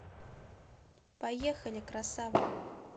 поехали красава